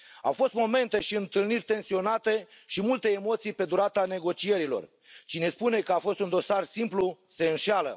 Au fost momente și întâlniri tensionate și multe emoții pe durata negocierilor. Cine spune că a fost un dosar simplu se înșală.